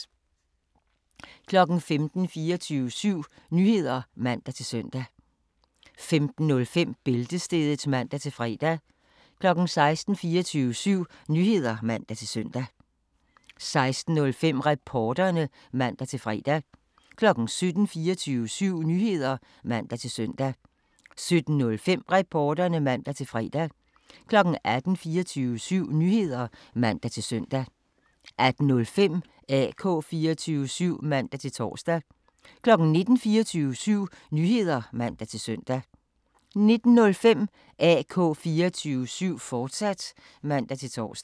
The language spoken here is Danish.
15:00: 24syv Nyheder (man-søn) 15:05: Bæltestedet (man-fre) 16:00: 24syv Nyheder (man-søn) 16:05: Reporterne (man-fre) 17:00: 24syv Nyheder (man-søn) 17:05: Reporterne (man-fre) 18:00: 24syv Nyheder (man-søn) 18:05: AK 24syv (man-tor) 19:00: 24syv Nyheder (man-søn) 19:05: AK 24syv, fortsat (man-tor)